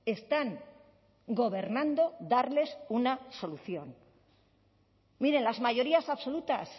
están gobernando darles una solución miren las mayorías absolutas